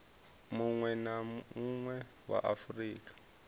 munwe na munwe wa afurika